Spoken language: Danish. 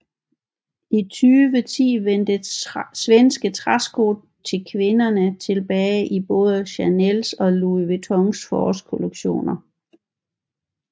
I 2010 vendte svenske træsko til kvindertilbage i både Chanels og Louis Vuittons forårkollektioner